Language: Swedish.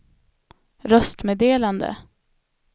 röstmeddelande